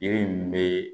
Yiri min bɛ